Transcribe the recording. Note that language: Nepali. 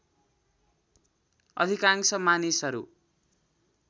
अधिकांश मानिसहरू